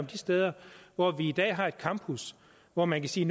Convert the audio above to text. de steder hvor vi i dag har et campus hvor man kan sige